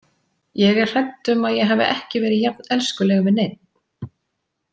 Ég er hrædd um að ég hafi ekki verið jafn elskuleg við neinn.